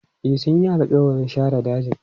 E, sun yi alƙawarin sare dajin.